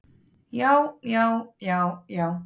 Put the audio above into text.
Já, já, já, já.